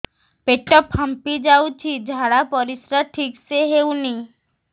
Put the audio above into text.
ପେଟ ଫାମ୍ପି ଯାଉଛି ଝାଡ଼ା ପରିସ୍ରା ଠିକ ସେ ହଉନି